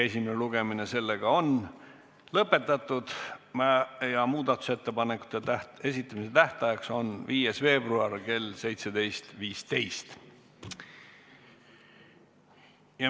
Esimene lugemine on lõpetatud ja muudatusettepanekute esitamise tähtajaks on 5. veebruar kell 17.15.